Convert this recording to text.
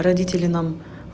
родители нам